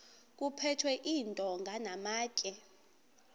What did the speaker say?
kuphethwe iintonga namatye